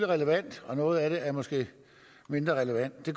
relevant og noget af det er måske mindre relevant det